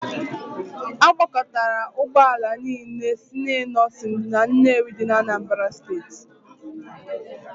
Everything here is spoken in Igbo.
A gbakọtara Ụgbọ ala niile si Innoson na Nnewi dị n'Anambra steeti.